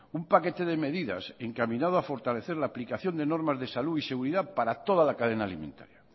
un paquete de medidas encaminado a fortalecer la aplicación de normas de salud y seguridad para toda la cadena alimentaria